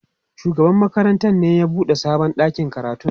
shugaban makarantar ne ya buɗe sabon ɗakin karatun.